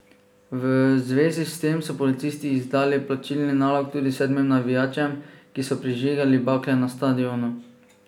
V zvezi s tem so policisti izdali plačilni nalog tudi sedmim navijačem, ki so prižigali bakle na stadionu.